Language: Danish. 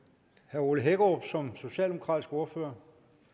ole hækkerup som socialdemokratisk ordfører